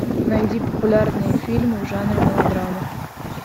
найди популярные фильмы в жанре мелодрама